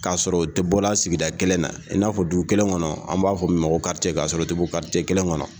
Ka sɔrɔ u te bɔra sigida kelen na, i n'a fɔ dugu kelen kɔnɔ an b'a fɔ min ma ko ka sɔrɔ u te bɔ kelen kɔnɔ.